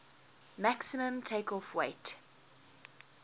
maximum takeoff weight